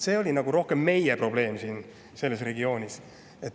See oli nagu rohkem meie probleem siin selles regioonis.